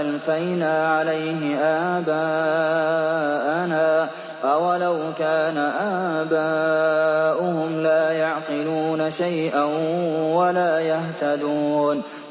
أَلْفَيْنَا عَلَيْهِ آبَاءَنَا ۗ أَوَلَوْ كَانَ آبَاؤُهُمْ لَا يَعْقِلُونَ شَيْئًا وَلَا يَهْتَدُونَ